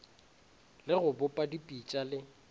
le go bopa dipitša le